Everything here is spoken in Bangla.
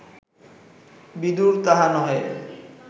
বিদুর তাহা নহে